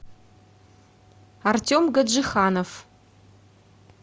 артем гаджиханов